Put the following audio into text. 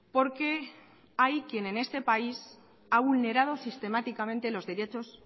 porque hay quien en este país ha vulnerado sistemáticamente los derechos